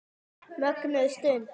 Mögnuð stund.